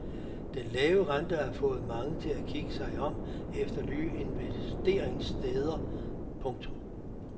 Den lave rente har fået mange til at kigge sig om efter nye investeringssteder. punktum